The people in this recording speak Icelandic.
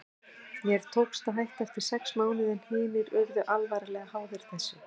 Mér tókst að hætta eftir sex mánuði en hinir urðu alvarlega háðir þessu.